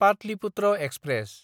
Pataliputra express